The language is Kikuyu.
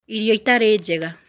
Irio itarĩ njega